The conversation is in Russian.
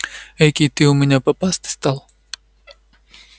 экий ты у меня попастый стал